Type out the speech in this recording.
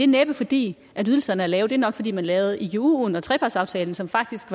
næppe fordi ydelserne er lave men nok fordi man lavede iguen og trepartsaftalen som faktisk